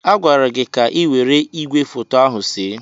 A gwara gị ka ị were igwefoto ahụ see!